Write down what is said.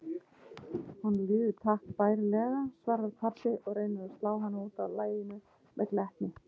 Honum líður takk bærilega, svarar pabbi og reynir að slá hana útaf laginu með glettni.